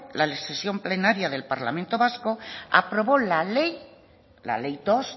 la decisión plenaria del parlamento vasco aprobó la ley la ley dos